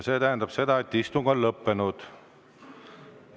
See tähendab seda, et istung on lõppenud.